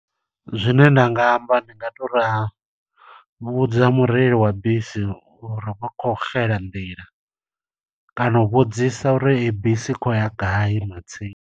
Zwine nda nga amba ndi nga to ri, vhudza mureili wa bisi uri vho khou xela nḓila. Kana u vhudzisa uri ei bisi i khou ya gai matsina.